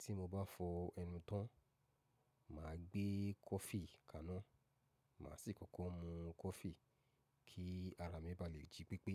Tí mo bá fọ ẹnu tán, mà á gbé kọfí kaná, mà á sì kọ́kọ́ mú kọfí kí ara mi ba lè jí pípé.